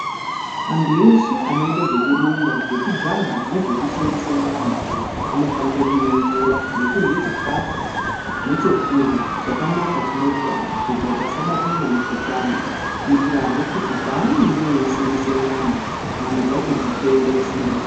Antu eshe anoite zvekurumba, zvekujaha nezvekusimbisa nyama, anofanire kumwa mvura nekurye chikafu nechekurya chakanaka, chine utano kuitira kuti asabatwa ngemukuhlani, kuitirahe kuti paanenge eisimbisa nyama, nyama dzacho dzitende kusimbiswa.